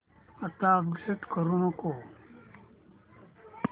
आता अपडेट करू नको